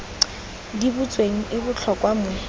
di butsweng e botlhokwa mo